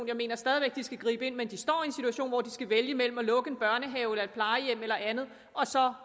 jeg mener stadig væk de skal gribe ind men de står en situation hvor de skal vælge mellem at lukke en børnehave eller et plejehjem eller andet og så